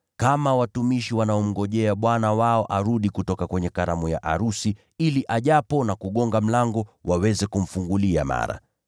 kama watumishi wanaomngojea bwana wao arudi kutoka kwenye karamu ya arusi, ili ajapo na kubisha mlango waweze kumfungulia mara.